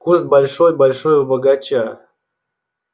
куст большой-большой у бочага